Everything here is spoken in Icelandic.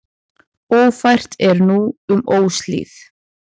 Ófært er um Óshlíð.